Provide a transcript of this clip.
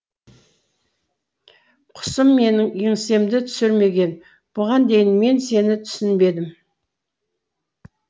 құсым менің еңсемді түсірмегін бұған дейін мен сені түсінбедім